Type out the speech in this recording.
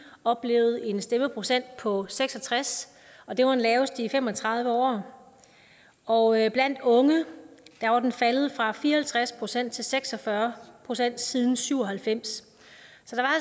oplevet en stemmeprocent på seks og tres og det var den laveste i fem og tredive år og blandt unge var den faldet fra fire og halvtreds procent til seks og fyrre procent siden nitten syv og halvfems